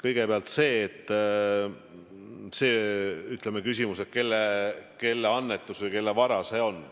Kõigepealt see küsimus, kelle annetus või kelle vara see on.